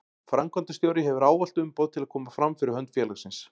Framkvæmdastjóri hefur ávallt umboð til að koma fram fyrir hönd félagsins.